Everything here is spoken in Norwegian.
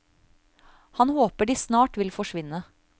Han håper de snart vil forsvinne.